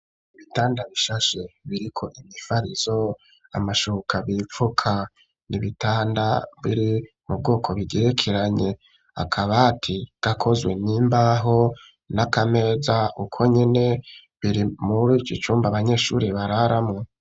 Ibitanda bishashe biriko imifarizo amashoboka bipfuka nibitanda biri mu bwoko bigerekeranye akabati gakozwe n'imbaho n'akameza uko nyine biri muri ikicumba banyeshuri bararamwo.